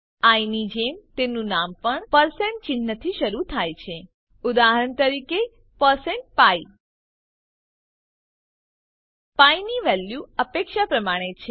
I ની જેમ તેનું નામ પણ પરસેન્ટ ચિન્હથી શરૂ થાય છે ઉદાહરણ તરીકે પરસેન્ટ પી પી ની વેલ્યુ અપેક્ષા પ્રમાણે છે